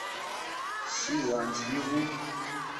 силантьеву